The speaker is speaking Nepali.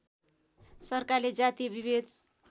सरकारले जातीय विभेद